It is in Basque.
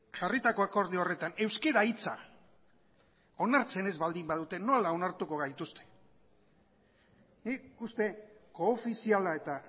jarritako akordio horretan euskera hitza onartzen ez baldin badute nola onartuko gaituzte nik uste koofiziala eta